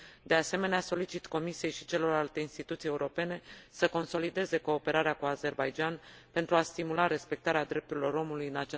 De asemenea, solicit Comisiei și celorlalte instituții europene să consolideze cooperarea cu Azerbaidjanul pentru a stimula respectarea drepturilor omului în